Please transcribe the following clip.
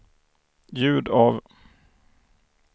ljud av